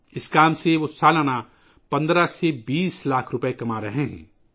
اس کام سے وہ سالانہ 15 سے 20 لاکھ روپئے کما رہے ہیں